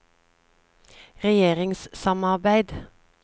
regjeringssamarbeid